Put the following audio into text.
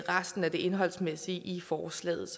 resten af det indholdsmæssige i forslaget